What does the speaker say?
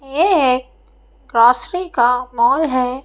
ये एक क्रासरि का मॉल है।